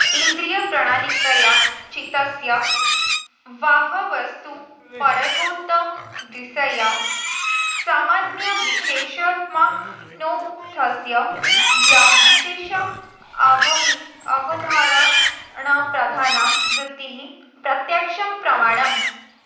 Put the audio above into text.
इन्द्रियप्रणालिकया चित्तस्य बाह्यवस्तूपरागात्तद्विषया सामान्यविशेषात्मनोऽर्थस्य विशेषावधारणप्रधाना वृत्तिः प्रत्यक्षं प्रमाणम्